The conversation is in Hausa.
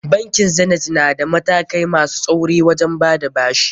Bankin Zanith na da matakai masu tsauri wajen bada bashi.